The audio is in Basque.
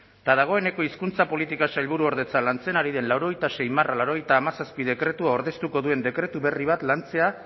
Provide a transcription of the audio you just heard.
eta dagoeneko hizkuntza politika sailburuordetza lantzen ari den laurogeita sei barra laurogeita hamazazpi dekretua ordeztuko duen dekretu berri bat lantzea